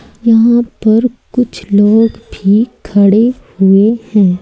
यहां पर कुछ लोग भी खड़े हुए हैं।